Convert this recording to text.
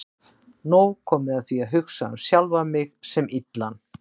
Nóg komið af því að hugsa um sjálfan mig sem illan.